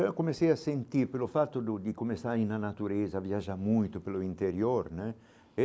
Eu comecei a sentir pelo fato do de começar a ir na natureza, viajar muito pelo interior né.